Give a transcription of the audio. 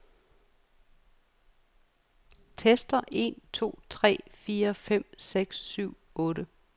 Tester en to tre fire fem seks syv otte.